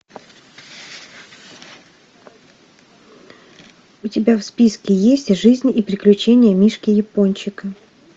у тебя в списке есть жизнь и приключения мишки япончика